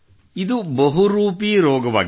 ಇದು ಬಹುರೂಪಿ ರೋಗವಾಗಿದೆ